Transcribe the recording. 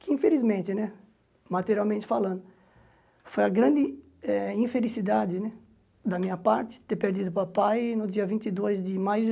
Que infelizmente né, materialmente falando, foi a grande eh infelicidade né da minha parte ter perdido o papai no dia vinte e dois de maio